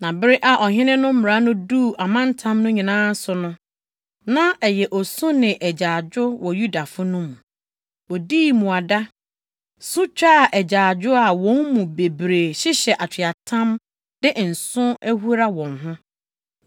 Na bere a ɔhene no mmara no duu amantam no nyinaa so no, na ɛyɛ osu ne agyaadwo wɔ Yudafo no mu. Wodii mmuada, su twaa agyaadwo a wɔn mu bebree hyehyɛ atweaatam de nsõ ahura wɔn ho.